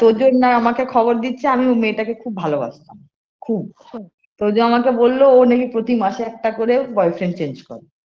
তোজো না আমাকে খবর দিচ্ছে আমি ওই মেয়েটাকে খুব ভালোবাসতাম খুব তোজো আমাকে বললো ও নাকি প্রতি মাসে একটা করে boyfriend change করে